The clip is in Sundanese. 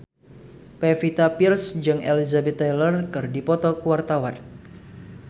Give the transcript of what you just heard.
Pevita Pearce jeung Elizabeth Taylor keur dipoto ku wartawan